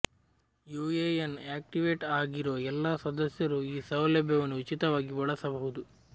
UAN activate ಆಗಿರುವ ಎಲ್ಲ ಸದಸ್ಯರೂ ಈ ಸೌಲಭ್ಯವನ್ನು ಉಚಿತವಾಗಿ ಬಳಸಬಹುದು